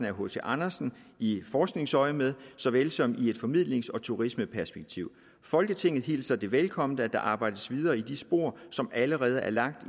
af hc andersen i forskningsøjemed såvel som i et formidlings og turismeperspektiv folketinget hilser det velkommen at der arbejdes videre i de spor som allerede er lagt